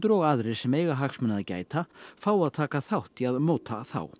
og aðrir sem eiga hagsmuna að gæta fá að taka þátt í að móta þá